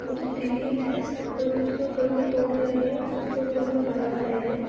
--कुछ गिरिल है और कुछ लोग घर को तोड़ रहे है कुछ लोग घर को बना रहे है।